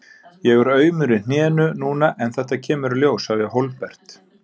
Ég er aumur í hnénu núna en þetta kemur í ljós, sagði Hólmbert.